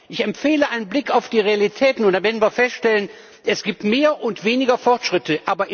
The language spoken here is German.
Ich empfehle einen Blick auf die Realitäten, und dabei werden wir feststellen, es gibt mehr und weniger Fortschritte.